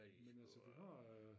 Men altså vi har øh